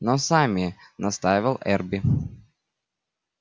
но сами настаивал эрби